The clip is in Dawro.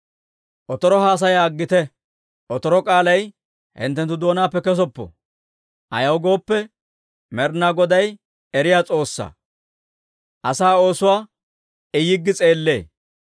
«Otoro haasaya aggite; otoro k'aalay hinttenttu doonaappe kessoppo. Ayaw gooppe, Med'inaa Goday eriyaa S'oossaa; asaa oosuwaa I yiggi s'eellee.